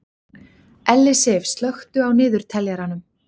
Ellisif, slökktu á niðurteljaranum.